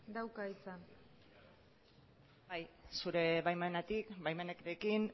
dauka hitza bai zure baimenarekin